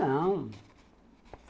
Não...